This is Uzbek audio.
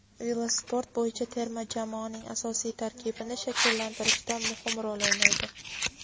velosport bo‘yicha terma jamoaning asosiy tarkibini shakllantirishda muhim rol o‘ynaydi.